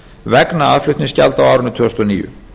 vegna aðflutningsgjalda á árinu tvö þúsund og níu